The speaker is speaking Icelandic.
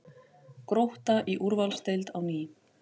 Grótta í úrvalsdeild á ný